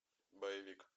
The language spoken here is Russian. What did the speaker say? боевик